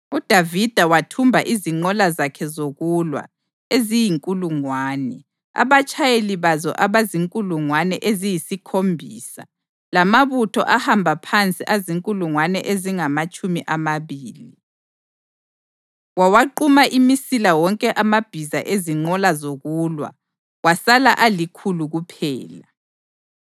UDavida wathumba izinqola zakhe zokulwa eziyinkulungwane, abatshayeli bazo abazinkulungwane eziyisikhombisa lamabutho ahamba phansi azinkulungwane ezingamatshumi amabili. Wawaquma imisila wonke amabhiza ezinqola zokulwa kwasala alikhulu kuphela.